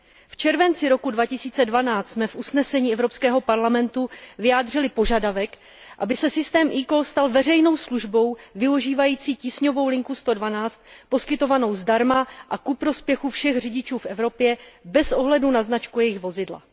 V červenci roku 2012 jsme v usnesení Evropského parlamentu vyjádřili požadavek, aby se systém eCall stal veřejnou službou využívající tísňovou linku 112 poskytovanou zdarma a ku prospěchu všech řidičů v Evropě bez ohledu na značku jejich vozidla.